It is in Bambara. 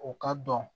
O ka dɔn